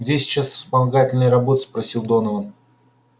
где сейчас вспомогательные работы спросил донован